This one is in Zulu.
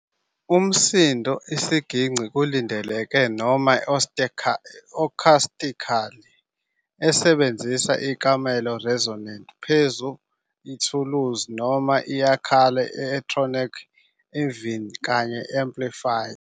Umsindo isiginci kulindeleke noma acoustically, esebenzisa ikamelo resonant phezu ithuluzi, noma iyakhula i-electronic iveni kanye amplifier.